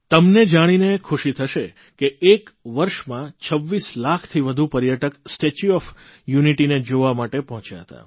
તમને જાણીને ખુશી થશે કે એક વર્ષમાં 26 લાખથી વધુ પર્યટક સ્ટેચ્યુ ઓફ યુનિટીને જોવા માટે પહોંચ્યા હતા